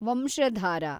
Vamsadhara